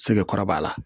Sege kɔrɔ b'a la